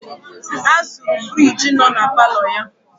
Ha zuru firiji nọ na paalọ ya.